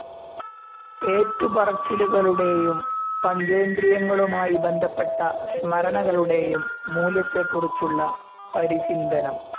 ഏറ്റുപറച്ചിലുകളുടേയും പഞ്ചേന്ദ്രിയങ്ങളുമായി ബന്ധപ്പെട്ട സ്മരണകളുടേയും മൂല്യത്തേക്കുറിച്ചുള്ള പരിചിന്തനം.